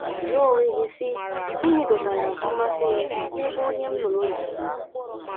Jụọ onwe gị, sị, ‘ Gịnị dọtara mmasị m n’ebe onye m lụrụ nọ?